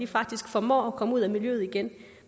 faktisk formår at komme ud af miljøet igen